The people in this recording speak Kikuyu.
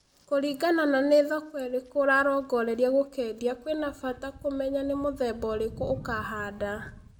Kũringana na nĩ thoko ĩrĩkũ ũrarongoreria gũkendia kũina bata kũmenya nĩ mũthemba ũrĩkũ ũkũhanda